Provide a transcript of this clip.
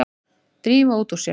Drífa út úr sér.